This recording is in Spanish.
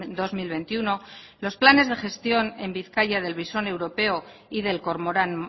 dos mil veintiuno los planes de gestión en bizkaia del visón europeo y del cormorán